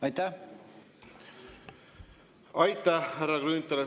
Aitäh, härra Grünthal!